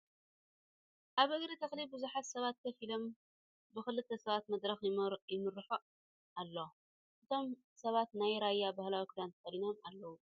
ኣብ እግሪ ተክሊ ብዙሓት ሰባት ኮፍ ኢሎም ብ ክልተ ሰባት መድረክ ይምራሕ ኣሎ ። እቶም ሰባት ናይ ራያ ባህላዊ ኪዳን ተከዲኖም ኣለዉ ።